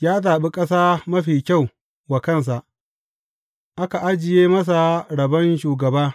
Ya zaɓi ƙasa mafi kyau wa kansa; aka ajiye masa rabon shugaba.